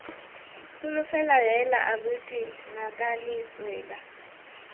tsholofelo heela abuti ngakane tswela